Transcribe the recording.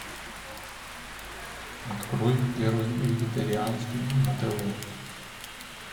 открой первый вегетарианский на тв